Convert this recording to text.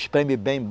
Espreme bem.